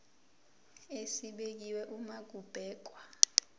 esibekiwe uma kubhekwa